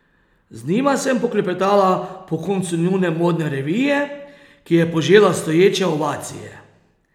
Z njima sem poklepetala po koncu njune modne revije, ki je požela stoječe ovacije.